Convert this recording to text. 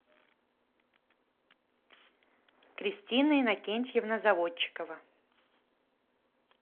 кристина иннокентьевна заводчикова